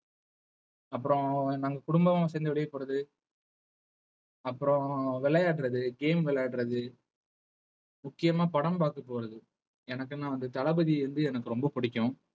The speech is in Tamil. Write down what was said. அப்புறம் நாங்க குடும்பமா சேர்ந்து வெளியே போறது அப்புறம் விளையாடுறது game விளையாடுறது முக்கியமா படம் பார்க்கப் போறது எனக்குன்னா வந்து தளபதி வந்து எனக்கு ரொம்ப பிடிக்கும்